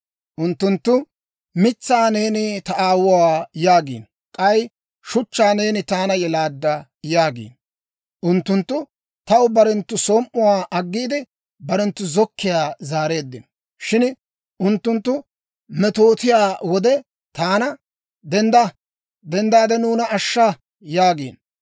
Unttunttu mitsaa, ‹Neeni ta aawuwaa› yaagiino; k'ay shuchchaa, ‹Neeni taana yelaadda› yaagiino. Unttunttu taw barenttu som"uwaa aggiide, barenttu zokkiyaa zaareeddino. Shin unttunttu metootiyaa wode taana, ‹Dendda! Nuuna ashsha!› yaagiino.